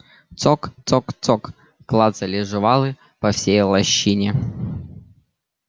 цок цок цок клацали жвалы по всей лощине